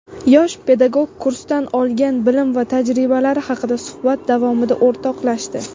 Yosh pedagog kursdan olgan bilim va tajribalari haqida suhbat davomida o‘rtoqlashdi.